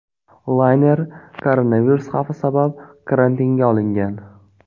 Layner koronavirus xavfi sabab karantinga olingan.